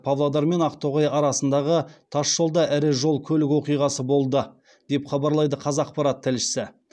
павлодар мен ақтоғай арасындағы тасжолда ірі жол көлік оқиғасы болды деп хабарлайды қазақпарат тілшісі